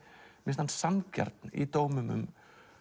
finnst hann sanngjarn í dómum